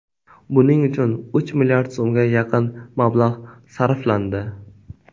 Buning uchun uch milliard so‘mga yaqin mablag‘ sarflandi.